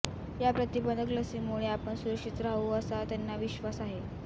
या प्रतिबंधक लसीमुळे आपण सुरक्षित राहू असा त्यांना विश्वास आहे